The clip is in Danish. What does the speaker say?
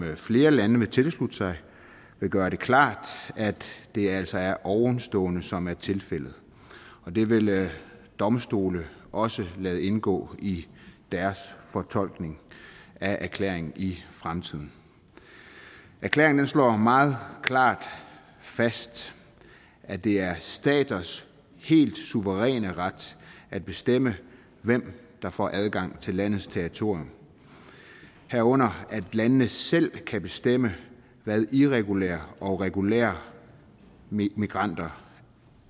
flere lande vil tilslutte sig vil gør det klart at det altså er ovenstående som er tilfældet det vil domstole også lade indgå i deres fortolkning af erklæringen i fremtiden erklæringen slår meget klart fast at det er staters helt suveræne ret at bestemme hvem der får adgang til landets territorium herunder at landene selv kan bestemme hvad irregulære og regulære migranter